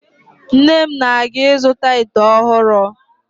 Nne m na-aga ịzụta ite ọhụrụ